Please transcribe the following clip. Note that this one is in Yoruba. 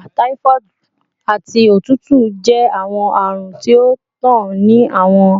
Ibà, typhoid, ati otutu jẹ awọn arun ti o ntan ni awọn